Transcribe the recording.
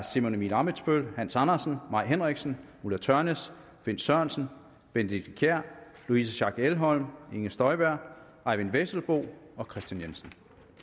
simon emil ammitzbøll hans andersen mai henriksen ulla tørnæs bent sørensen benedikte kiær louise schack elholm inger støjberg eyvind vesselbo og kristian jensen